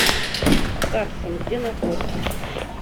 гарсон где находится